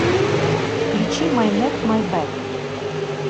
включи май нек май бэк